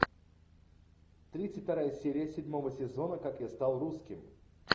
тридцать вторая серия седьмого сезона как я стал русским